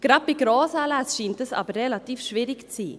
Gerade bei Grossanlässen scheint das aber relativ schwierig zu sein.